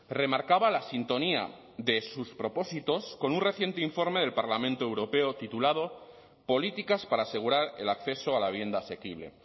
remarcaba la sintonía de sus propósitos con un reciente informe del parlamento europeo titulado políticas para asegurar el acceso a la vivienda asequible